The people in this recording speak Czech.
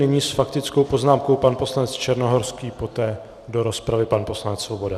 Nyní s faktickou poznámkou pan poslanec Černohorský, poté do rozpravy pan poslanec Svoboda.